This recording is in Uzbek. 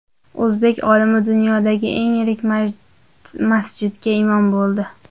O‘zbek olimi dunyodagi eng yirik masjidga imom bo‘ldi.